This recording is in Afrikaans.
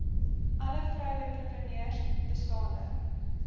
alle vroueentrepreneurs bestaande